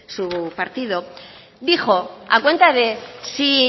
su partido dijo a cuenta de si